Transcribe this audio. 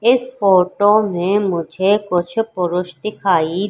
इस फोटो में मुझे कुछ पुरुष दिखाई--